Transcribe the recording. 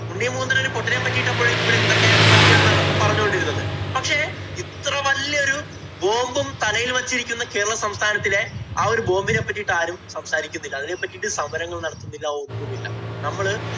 ഉണ്ണി മുകുന്ദന്‍ ഒരു പൊട്ടിനെ പറ്റി ഇട്ടപ്പൊഴേക്കും ഇവിടെ എന്തൊക്കെയാണ് നടന്ന് പറഞ്ഞു കൊണ്ടിരുന്നത്. പക്ഷേ, ഇത്ര വല്യ ഒരു bomb ഉം തലയില്‍ വച്ചിരിക്കുന്ന കേരള സംസ്ഥാനത്തിലെ ആ ഒരു bomb ഇനെ പറ്റീട്ട് ആരും സംസാരിക്കുന്നില്ല. അതിനെ പറ്റീട്ട് സമരങ്ങള്‍ നടത്തുന്നില്ല. ഒന്നുമില്ല. നമ്മള്